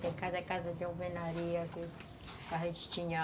Tem cada casa de alvenaria que a gente tinha.